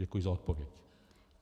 Děkuji za odpověď.